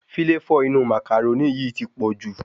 Fíláfò inú màcàrónì yìí ti pọ̀jù